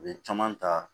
U ye caman ta